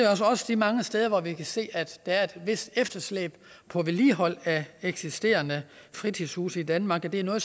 også de mange steder hvor vi kan se at der er et vist efterslæb på vedligeholdelse af eksisterende fritidshuse i danmark det er noget